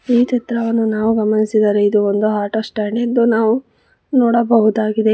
ಈ ಚಿತ್ರವನ್ನು ನಾವು ಗಮನಿಸಿದರೆ ಇದು ಒಂದು ಆಟೋ ಸ್ಟ್ಯಾಂಡ್ ಎಂದು ನಾವು ನೋಡಬಹುದಾಗಿದೆ.